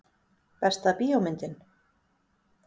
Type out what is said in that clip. Besta bíómyndin?